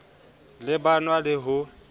ne ba nwa le ho